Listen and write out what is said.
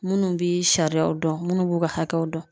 Munnu bi sariyaw dɔn munnu b'u ka hakɛw dɔn